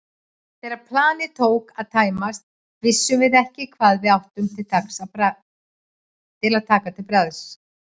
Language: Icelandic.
Þegar planið tók að tæmast vissum við ekki hvað við áttum að taka til bragðs.